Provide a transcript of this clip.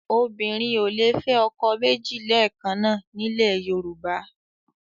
Obìnrin ò lè fẹ́ ọkọ méjì lẹ́ẹ̀kan náà nílẹ̀ Yorùbá